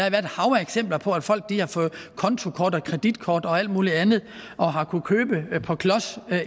et hav af eksempler på at folk har fået kontokort og kreditkort og alt muligt andet og har kunnet købe på klods